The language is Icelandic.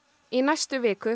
í næstu viku